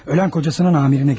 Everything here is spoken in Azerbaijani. Ölən ərinin rəisinə getmiş.